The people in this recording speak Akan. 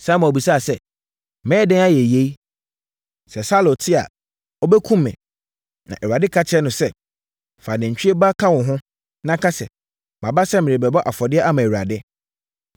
Samuel bisaa sɛ, “Mɛyɛ dɛn ayɛ yei? Sɛ Saulo te a ɔbɛkum me.” Na Awurade ka kyerɛɛ no sɛ, “Fa nantwie ba ka wo ho, na ka sɛ, maba sɛ merebɛbɔ afɔdeɛ ama Awurade.